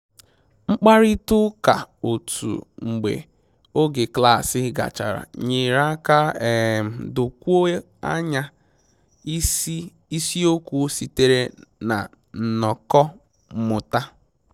Mkparịta ụka otu mgbe oge klaasị gachara nyere aka um dokwuo anya isi isiokwu sitere na nnọkọ mmụta